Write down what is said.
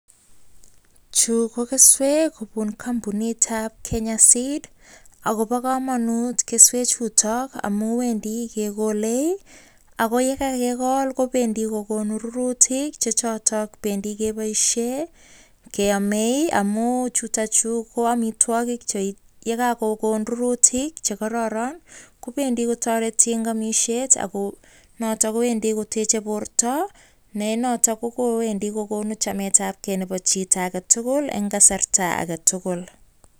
Chu kokeswek kobun kompunitab Kenya Seed Company. Agobo komonut keswechuto amun wendi kegolee ago ye kagekol kobendi koguno rurutik che choton. Bendi keboishen keamee amun chuto chu koamitwogik ye kagokonon rurutik che kororon kobendi kotoreti en amishet ago noton kowendi koteche borto ne noton kowendi kogunu chametabge nebo chito age tugul en kasarta age tugul.